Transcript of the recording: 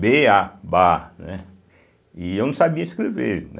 bê, á, ba, né. E eu não sabia escrever, né.